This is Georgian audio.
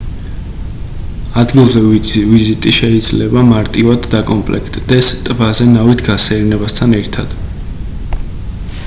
ადგილზე ვიზიტი შეიძლება მარტივად დაკომპლექტდეს ტბაზე ნავით გასეირნებასთან ერთად